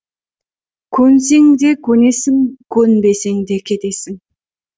көнсең де көнесің көнбесең де кетесің